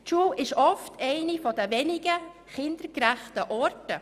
Die Schule ist oft eine der wenigen kindergerechten Orte.